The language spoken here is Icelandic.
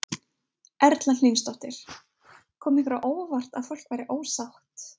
Erla Hlynsdóttir: Kom ykkur á óvart að fólk væri ósátt?